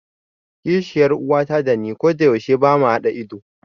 Kishiyar uwata dani kodayaushe bama haɗa ido.